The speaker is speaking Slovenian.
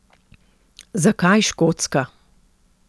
Zakaj Škotska?